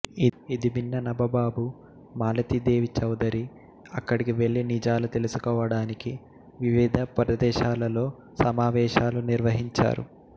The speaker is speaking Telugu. ఇది విన్న నబబాబు మాలతీదేవి చౌధరి అక్కడికి వెళ్లి నిజాలు తెలుసుకోవడానికి వివిధ ప్రదేశాలలో సమావేశాలు నిర్వహించారు